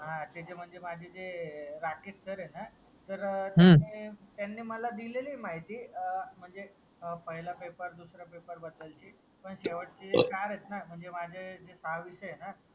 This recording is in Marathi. त्याच्या मध्ये माझे जे राकेश सर आहे ना तर त्यांनी माला दिलेली माहिती तर म्हणजे पहिला पेपर दूसरा पेपर बद्दल पण शेवटचे चार आहेत ना म्हणजे माझे जे सहा विषय आहेत ना